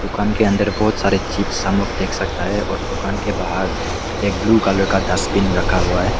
दुकान के अंदर बहुत सारे चिप्स हम लोग देख सकता है और दुकान के बाहर एक ब्लू कलर का डस्टबिन रखा हुआ है।